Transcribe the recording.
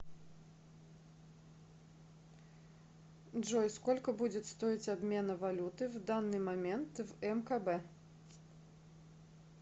джой сколько будет стоить обмена валюты в данный момент в мкб